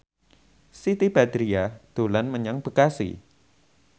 Siti Badriah dolan menyang Bekasi